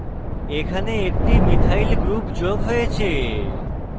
এখানে একটি methyl methyl group যোগ হয়েছে